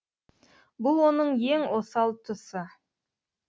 бұл оның ең осал тұсы